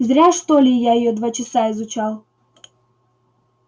зря что ли я её два часа изучал